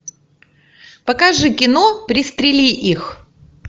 покажи кино пристрели их